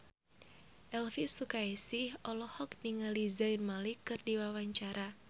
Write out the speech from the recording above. Elvi Sukaesih olohok ningali Zayn Malik keur diwawancara